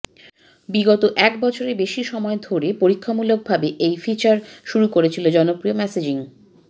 বিগত এক বছরের বেশি সময় ধরে পরীক্ষামূলকভাবে এই ফিচার শুরু করেছিল জনপ্রিয় মেসেজিং